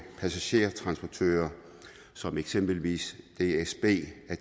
passagertransportører som eksempelvis dsb at